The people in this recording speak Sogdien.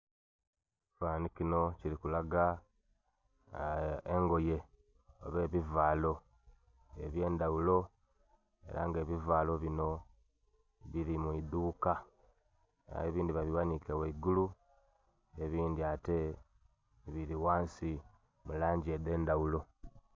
Ekifanhanhi kinho kirikulaga engoye oba ebivalo ebyendhaghulo era nga ebivalo bino biri mwiidhuuka aye ebindhi babighanike ghaigulu, ebindhi ate biri ghansi mulangi edhendhaghulo.